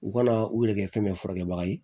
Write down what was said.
U kana u yɛrɛkɛ fɛn bɛɛ furakɛ baga ye